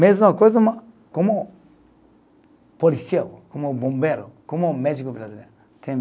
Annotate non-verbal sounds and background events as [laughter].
Mesma coisa, mas como policial, como bombeiro, como médico brasileiro. [unintelligible]